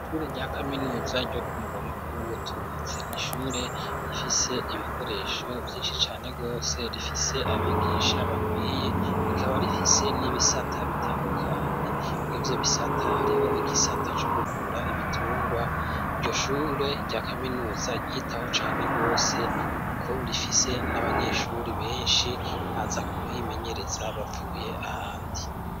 Ishure rya kaminuza ryo kumurwa mukuru w'ubutunzi, ni ishure rifise ibikoresho vyinshi cane gose rifise abigisha bakwiye; rikaba rifise n'ibisata bitandukanye. Mw''ivyo bisata hariho igisata co kuvura ibitungwa. Iryo shure rya kaminuza ryitaho cane rwose kuko rifise n'abanyeshuri benshi baza kuhimenyereza bavuye ahandi.